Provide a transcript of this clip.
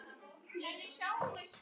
Á eftirlitssvæði Breta fyrir